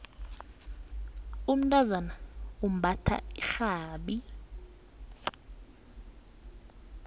umntazana umbatha irhabi